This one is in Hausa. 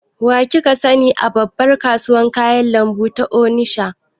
Wa kika sani a babbar kasuwar kayan lambu ta onisha?